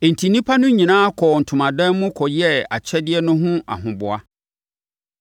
Enti, nnipa no nyinaa kɔɔ wɔn ntomadan mu kɔyɛɛ akyɛdeɛ no ho ahoboa.